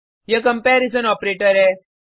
यह comparison operator है